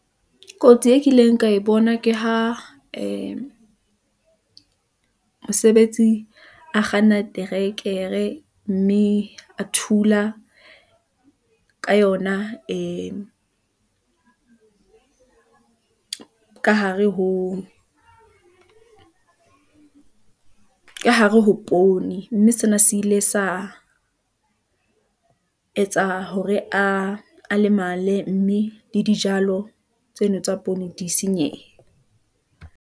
Kotsi e kileng ka e bona ke ha ee mosebetsi a kganna trekere, mme a thula ka yona ee , ka hare ho poone, mme sena se ile sa etsa hore a lemale, mme le dijalo tseno tsa poone di senyehe.